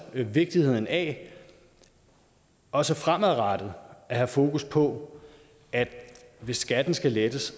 vigtigheden af også fremadrettet at have fokus på at hvis skatten skal lettes